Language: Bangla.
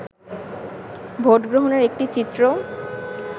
ভোটগ্রহণের একটি চিত্র